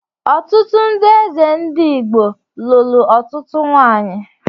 Ọtụtụ ndị eze ndị Igbo lụrụ ọtụtụ nwanyị